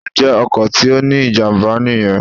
Ǹjẹ́ ọkọ̀ tí ó ní ìjàmbá nìyen